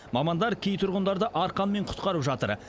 мамандар кей тұрғындарды арқанмен құтқарып жатыр